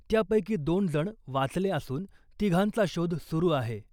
त्यापैकी दोन जण वाचले असून , तिघांचा शोध सुरु आहे .